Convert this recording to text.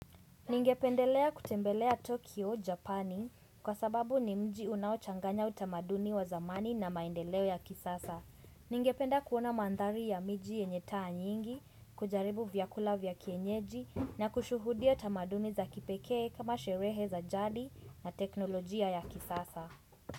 Ningependelea kutembelea Tokyo, Japani kwa sababu ni mji unaochanganya utamaduni wa zamani na maendeleo ya kisasa. Ningependa kuona mandhari ya miji yenye taa nyingi, kujaribu vyakula vya kienyeji na kushuhudia tamaduni za kipekee kama sherehe za jadi na teknolojia ya kisasa.